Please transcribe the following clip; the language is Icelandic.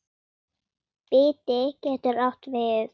Biti getur átt við